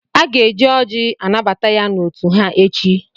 Aga-eji ọ́jị́ anabata ya n'òtù ha echi.